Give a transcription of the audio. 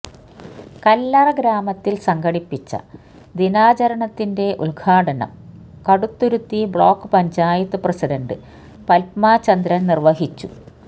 കല്ലറ ഗ്രാമത്തില് സംഘടിപ്പിച്ച ദിനാചരണത്തിന്റെ ഉദ്ഘാടനം കടുത്തുരുത്തി ബ്ലോക്ക് പഞ്ചായത്ത് പ്രസിഡന്റ് പത്മ ചന്ദ്രന് നിര്വ്വഹിച്ചു